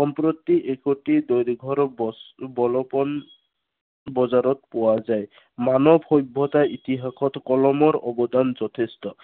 সম্প্ৰতি একোটি দৈৰ্ঘৰ, বস্তু বজাৰত পোৱা যায়। মানৱ সভ্য়তাৰ ইতিহাসত কলমৰ অৱদান যথেষ্ট।